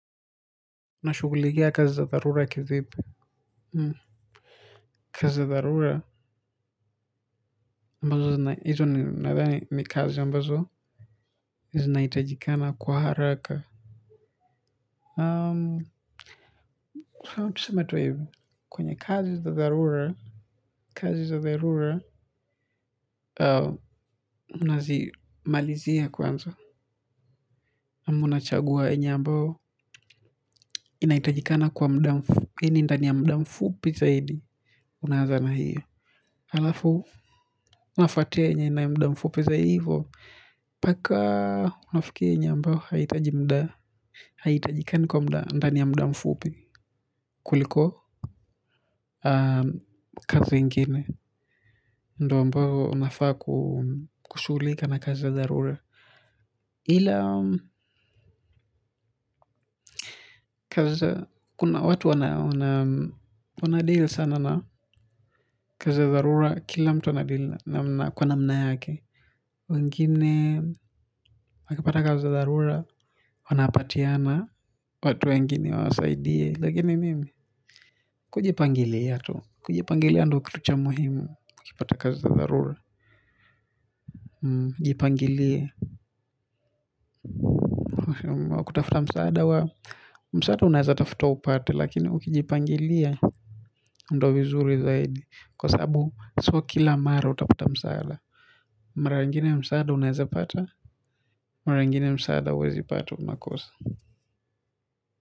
Unashughulikia kazi za dharura kivipi? Kazi za tharura mbazo nadhani ni kazi ambazo zinahitajikana kwa haraka aamm mfano tuseme tu hivi, kwenye kazi za dharura, kazi za dharura nazimalizia kwanza ama nachagua yenye ambayo inaitajikana kwa muda mfupi yani ndani ya muda mfupi zaidi unaanza na hiyo. Alafu, nafuatia yenye ina muda mfupi zaivyoo, paka unafikia yenye ambao haihitaji muda, haihitajikani kwa muda, ndani ya muda mfupi kuliko kazi ingine, ndo ambao unafaa kushuhulika na kazi dharura. Ila kazi kuna watu wana deal sana na kaz za dharura kila mtu ana deal na kwa namna yake. Wengine wakipata kazi za dharura, wanapatiana watu wengine wawasaidie. Lakini mimi kujipangilia tu. Kujipangilia ndo kitu cha muhimu ukipata kazi za dharura. Jipangilie ukiamua kutafuta msaada wa, msaada unaweza tafuta upate lakini ukijipangilia kwa sabu, so kila mara utapata msaada. Mara ingine msaada unaweza pata. Mara ingine msaada huwezi pata unakosa.